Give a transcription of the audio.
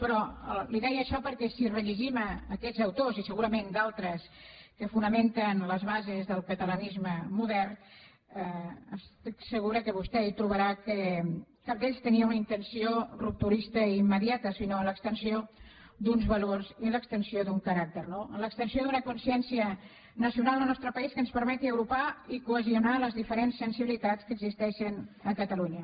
però li deia això perquè si rellegim aquests autors i segurament d’altres que fonamenten les bases del catalanisme modern estic segura que vostè trobarà que cap d’ells tenia una intenció rupturista immediata sinó l’extensió d’uns valors i l’extensió d’un caràcter no l’extensió d’una consciència nacional en el nostre país que ens permeti agrupar i cohesionar les diferents sensibilitats que existeixen a catalunya